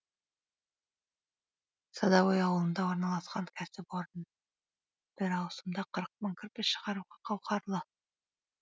садовой ауылында орналасқан кәсіпорын бір ауысымда қырық мың кірпіш шығаруға қауқарлы